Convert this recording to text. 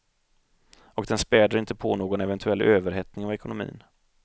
Och den späder inte på någon eventuell överhettning av ekonomin.